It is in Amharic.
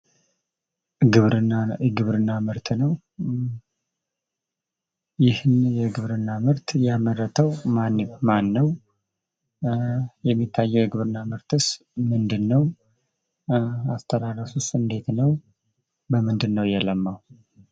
ግብርና የግብርና ምርት ነው ። ይህን የግብርና ምርት ያመረተው ማን ነው? የሚታየው የግብርና ምርትስ ምንድን ነው? አስተራረሱስ እንዴት ነው? በምንድን ነው የለማው?